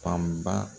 Fanba